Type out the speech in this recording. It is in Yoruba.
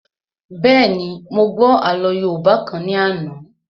Bẹ́ẹ̀ni, mo gbọ́ àlọ́ yóòbá kan ní àná